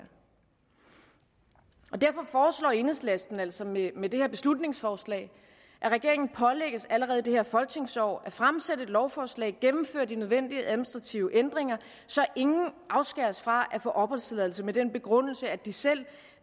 derfor foreslår enhedslisten altså med med det her beslutningsforslag at regeringen pålægges allerede i det her folketingsår at fremsætte et lovforslag og gennemføre de nødvendige administrative ændringer så ingen afskæres fra at få opholdstilladelse med den begrundelse at de selv